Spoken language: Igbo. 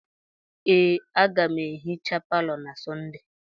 Ee, aga m ehicha palọ na Sọnde.